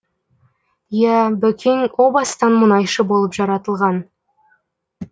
иә бөкең о бастан мұнайшы болып жаратылған